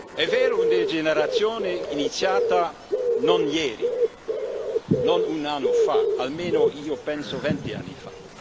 È vero, una degenerazione iniziata non ieri, non un anno fa almeno, io penso, venti anni fa.